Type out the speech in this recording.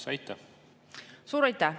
Suur aitäh!